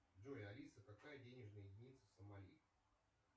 джой алиса какая денежная единица в сомали